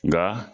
Nka